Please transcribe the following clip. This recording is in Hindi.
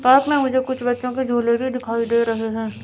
पास में मुझे कुछ बच्चों के झूले भी दिखाई दे रहे हैं।